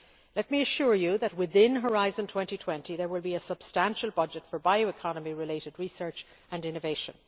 Let me assure you that within Horizon 2020 there will be a substantial budget for bioeconomy related research and innovation.